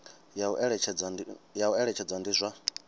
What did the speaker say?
ya u eletshedza ndi zwa